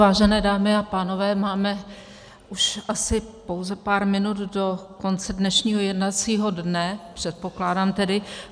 Vážené dámy a pánové, máme už asi pouze pár minut do konce dnešního jednacího dne, předpokládám tedy.